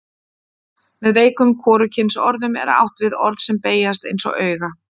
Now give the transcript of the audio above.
Með veikum hvorugkynsorðum er átt við orð sem beygjast eins og auga.